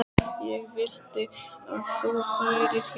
Ég vildi að þú værir hér.